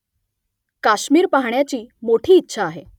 काश्मिर पाहाण्याची मोठी इच्छा आहे